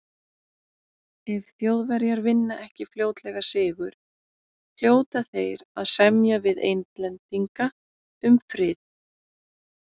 Ef Þjóðverjar vinna ekki fljótlega sigur, hljóta þeir að semja við Englendinga um frið.